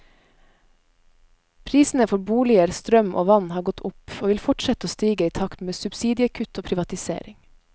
Prisene for boliger, strøm og vann har gått opp, og vil fortsette å stige i takt med subsidiekutt og privatisering.